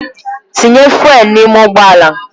Tinye fụ́élú n'ime ụgbọ ala!